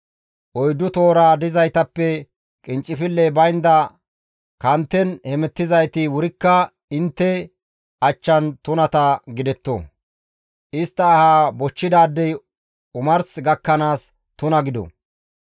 Oyddu tohora dizaytappe qinccifilley baynda kanten hemettizayti wurikka intte achchan tunata gidetto; istta ahaa bochchidaadey omars gakkanaas tuna gido;